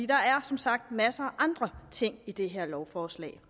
der er som sagt masser af andre ting i det her lovforslag